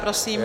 Prosím.